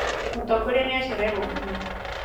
mũtongoria nĩ acererwo mũno